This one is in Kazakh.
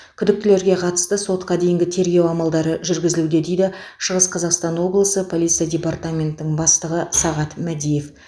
күдіктілерге қатысты сотқа дейінгі тергеу амалдары жүргізілуде дейді шығыс қазақстан облысы полиция департаментінің бастығы сағат мәдиев